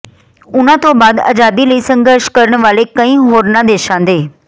ਉਨ੍ਹਾਂ ਤੋਂ ਬਾਅਦ ਆਜ਼ਾਦੀ ਲਈ ਸੰਘਰਸ਼ ਕਰਨ ਵਾਲੇ ਕਈ ਹੋਰਨਾਂ ਦੇਸ਼ਾਂ ਦੇ